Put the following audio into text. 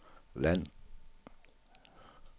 land